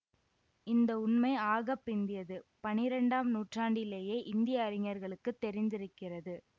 இந்த உண்மை ஆக பிந்தியது பனிரெண்டாம் நூற்றாண்டிலேயே இந்திய அறிஞர்களுக்குத் தெரிந்திருக்கிறது